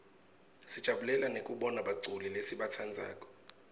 sijabulela nekubona baculi lesibatsandzako